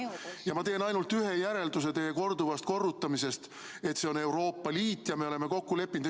Ja ma teen ainult ühe järelduse teie korduvast korrutamisest, et see on Euroopa Liit ja me oleme kokku leppinud.